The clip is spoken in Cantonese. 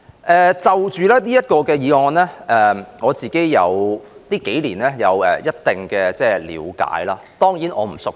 對於這項議題，我近數年有一定的了解，但我當然並不熟悉。